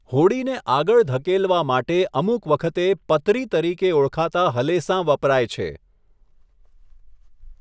હોડીને આગળ ધકેલવા માટે અમુક વખતે પતરી તરીકે ઓળખાતા હલેસાં વપરાય છે.